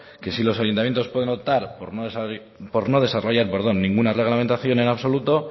que si los ayuntamientos pueden optar por no desarrollar ninguna reglamentación en absoluto